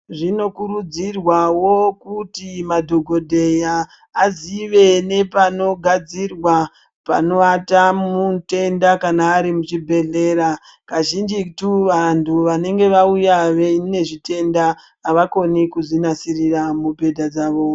Zvinokurudzirwawo kuti madhokodheya azive nepanogadzirwa pawata mutenda kana ari muchibhedhlera, kazhinjitu vanhu vanenge vauya veine zvitenda avakoni kuzvinasirira mubhedha dzavo.